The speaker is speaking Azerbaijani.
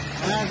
Hara?